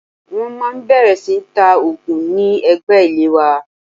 Wọ́n máa bẹ̀rẹ̀ sí ní ta òògùn ní ẹ̀gbẹ́ ilé wa